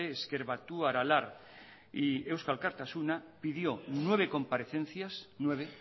ezker batua aralar y eusko alkartasuna pidió nueve comparecencias nueve